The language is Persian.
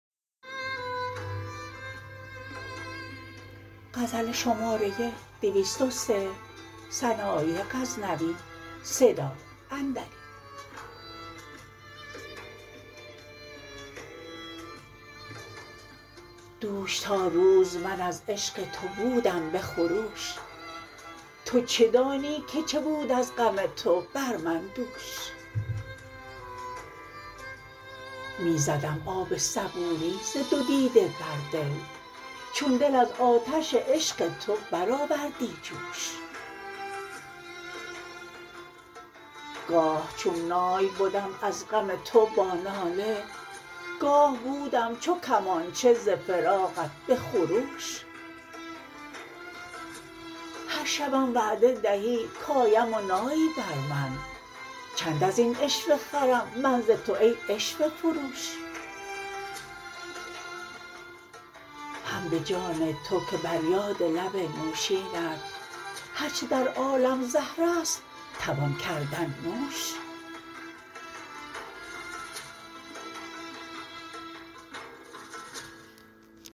دوش تا روز من از عشق تو بودم به خروش تو چه دانی که چه بود از غم تو بر من دوش می زدم آب صبوری ز دو دیده بر دل چون دل از آتش عشق تو برآوردی جوش گاه چون نای بدم از غم تو با ناله گاه بودم چو کمانچه ز فراقت به خروش هر شبم وعده دهی کایم و نایی بر من چند ازین عشوه خرم من ز تو ای عشوه فروش هم به جان تو که بر یاد لب نوشینت هر چه در عالم زهر است توان کردن نوش